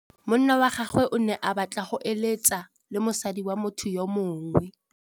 Monna wa gagwe o ne a batla go êlêtsa le mosadi wa motho yo mongwe.